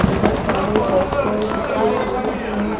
बहुत सारे पोस्टर चिपके हुए हैं।